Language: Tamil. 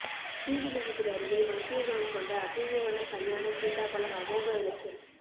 ஸ்ரீவில்லிபுத்தூா் அருகே மருத்துவ குணம் கொண்ட அபூா்வ வன கல்யாண சீதாபழம் அமோக விளைச்சல்